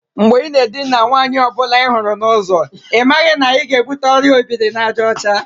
Mgbe i na edina nwata nwaanyi ọ bụla ihuru n'uzo, ị maghị na ị ga-ebute Ọrịa obiri-na-aja ocha?